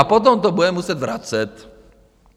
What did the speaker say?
A potom to bude muset vracet.